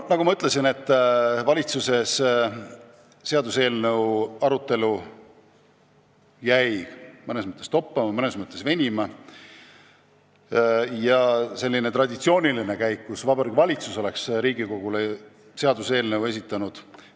Nagu ma ütlesin, oli valitsuses seaduseelnõu arutelu mõnes mõttes toppama, mõnes mõttes venima jäänud ja selline traditsiooniline käik, et Vabariigi Valitsus oleks Riigikogule seaduseelnõu esitanud, ei tulnud enam kõne alla.